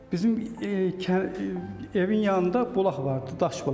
Bizim evin yanında bulaq vardı, daş bulaq.